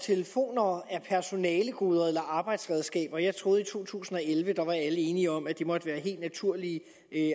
telefoner er personalegoder eller arbejdsredskaber jeg troede at i to tusind og elleve var alle enige om at det må være helt naturlige